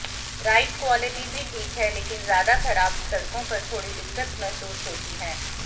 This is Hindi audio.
राइड क्वॉलिटी भी ठीक है लेकिन ज्यादा खराब सड़कों पर थोड़ी दिक्कत महसूस होती है